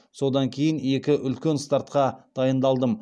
содан кейін екі үлкен стартқа дайындалдым